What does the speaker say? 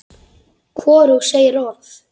Hvorug segir orð.